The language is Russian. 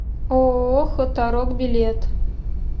ооо хуторок билет